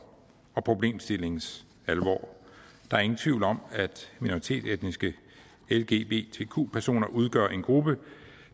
og problemstillingens alvor der er ingen tvivl om at minoritetsetniske lgbtq personer udgør en gruppe